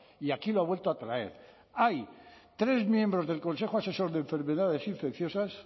y aquí lo ha vuelto a traer hay tres miembros del consejo asesor de enfermedades infecciosas